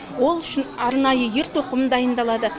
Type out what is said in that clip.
ол үшін арнайы ер тоқым дайындалады